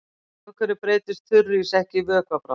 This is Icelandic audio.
Af hverju breytist þurrís ekki í vökva við bráðnun?